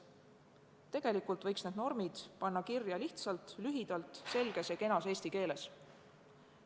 Tegelikult võiks need normid panna kirja lihtsalt ja lühidalt, selges ja kenas eesti keeles.